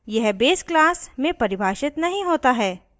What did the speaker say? यह base class में परिभाषित नहीं होता है